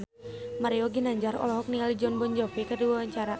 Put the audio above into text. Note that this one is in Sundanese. Mario Ginanjar olohok ningali Jon Bon Jovi keur diwawancara